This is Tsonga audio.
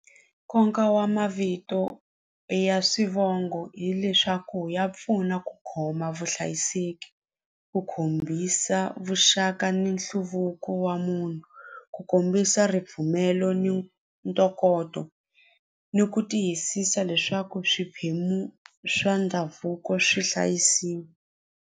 Nkoka wa mavito ya swivongo hileswaku ya pfuna ku khoma vuhlayiseki ku hombisa vuxaka ni nhluvuko wa munhu ku kombisa ripfumelo ni ntokoto ni ku tiyisisa leswaku swiphemu swa ndhavuko swi hlayisiwa.